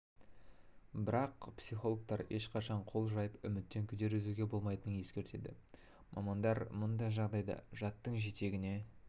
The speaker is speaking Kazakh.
бірақ психологтар ешқашан қол жайып үміттен күдер үзуге болмайтынын ескертеді мамандар мұндай жағдайда жаттың жетегіне